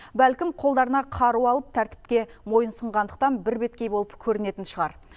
бәлкім қолдарына қару алып тәртіпке мойынұсынғандықтан бірбеткей болып көрінетін шығар